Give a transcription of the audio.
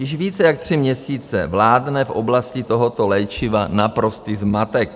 Již více jak tři měsíce vládne v oblasti tohoto léčiva naprostý zmatek.